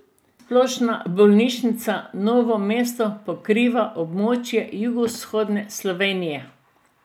Splošna bolnišnica Novo mesto pokriva območje jugovzhodne Slovenije.